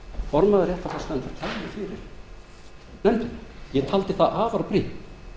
formaður réttarfarsnefndar kæmi fyrir nefndina ég taldi það afar brýnt